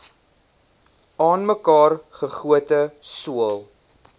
aanmekaar gegote sool